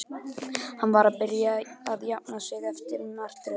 Hann var að byrja að jafna sig eftir martröðina.